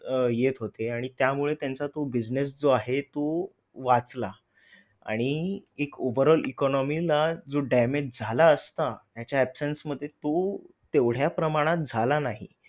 यंदाच्या वर्षात फुल शेतातून अधिक पीक मिळावे या आशेने शेतकरी राजा भात बियाणे खरेदी करण्यासाठी जव्हार शहरातील कृषी केंद्रात गर्दी करू लागला आहे.